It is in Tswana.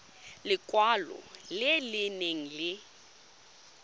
lekwalo le le nang le